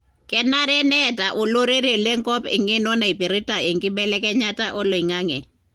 kenare neeta olorere lenkop engeno naipirta enkibelekenyata oloingange.